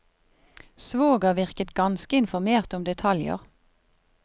Svoger virket ganske informert om detaljer.